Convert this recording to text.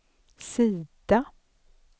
sida